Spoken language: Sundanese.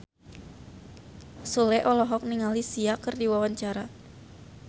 Sule olohok ningali Sia keur diwawancara